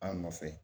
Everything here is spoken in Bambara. An nɔfɛ